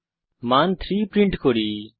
আমরা 3 হিসাবে মান প্রিন্ট করি